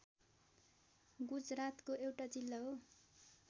गुजरातको एउटा जिल्ला हो